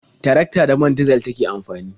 Tarakta da man dizal take amfani.